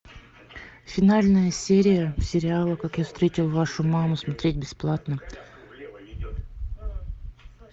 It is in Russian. финальная серия сериала как я встретил вашу маму смотреть бесплатно